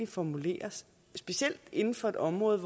formuleres specielt inden for et område